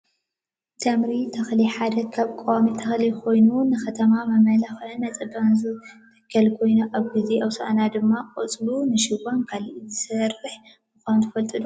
ተምሪ ተክሊ ሓደ ካብ ቆዋሚ ተክሊ ኮይኑ ንከተማታት መመላክዕን መፀባበቅን ዝትከል ኮይኑ ኣብ ግዜ ሆሳና ድማ ቆፅሉ ንሽቦን ካልእን ዝስራሕ ምኳኑ ትፈልጡ ዶ?